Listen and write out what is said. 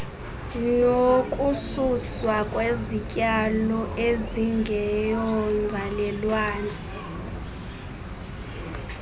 nokususwa kwezityalo ezingeyonzalelwane